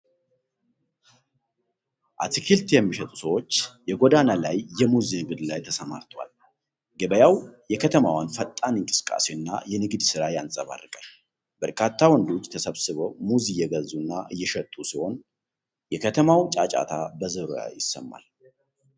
አትክልት የሚሸጡ ሰዎች የጎዳና ላይ የሙዝ ንግድ ላይ ተሰማርተዋል። ገበያው የከተማዋን ፈጣን እንቅስቃሴና የንግድ ሥራ ያንፀባርቃል። በርካታ ወንዶች ተሰብስበው ሙዝ እየገዙና እየሸጡ ሲሆን፣ የከተማዋ ጫጫታ በዙሪያው ይሰማል።